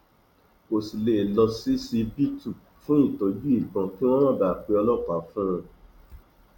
kò sì lè lọ ṣíṣíbítù fún ìtọjú ìbọn kí wọn má bàa pe ọlọpàá fún un